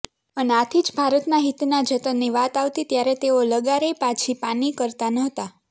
અને આથી જ ભારતના હિતના જતનની વાત આવતી ત્યારે તેઓ લગારેય પાછી પાની કરતા નહોતા